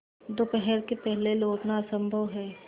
दोपहर के पहले लौटना असंभव है